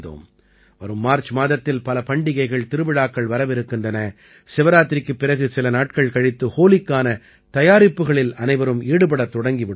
வரும் மார்ச் மாதத்தில் பல பண்டிகைகள் திருவிழாக்கள் வரவிருக்கின்றன சிவராத்திரிக்குப் பிறகு சில நாட்கள் கழித்து ஹோலிக்கான தயாரிப்புகளில் அனைவரும் ஈடுபடத் தொடங்கி விடுவார்கள்